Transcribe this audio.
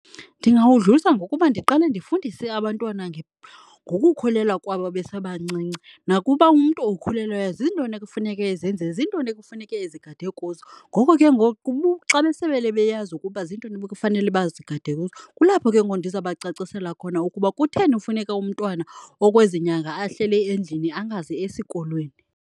Ndingawudlulisa ngokuba ndiqale ndifundise abantwana ngokukhulelwa kwabo besebancinci nakuba umntu okhulelweyo zintoni ekufuneka ezenzile, zintoni ekufuneka ezigade kuzo. Ngoko ke ngoku xa besebele beyazi ukuba zintoni ebekufanele bazigade kuzo, kulapho ke ngoku ndizabacacisela khona ukuba kutheni funeka umntwana okwezi nyanga ahlele endlini angazi esikolweni.